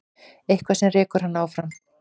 Eitthvað sem rekur hann áfram.